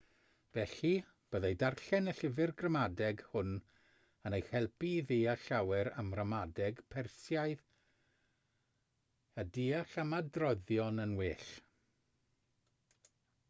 felly byddai darllen y llyfr gramadeg hwn yn eich helpu i ddeall llawer am ramadeg persiaidd a deall ymadroddion yn well